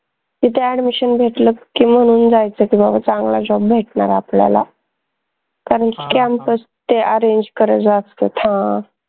तिथे admission घेतलं की, मानून जायचं की बाबा चांगला job भेटनार आपल्याला कारन की ते arrange असतात हां